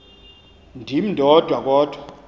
ndim ndodwa kodwa